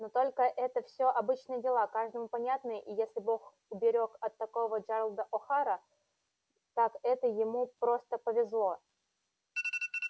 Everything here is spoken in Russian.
но только это всё обычные дела каждому понятные и если бог уберёг от такого джералда охара так это ему просто повезло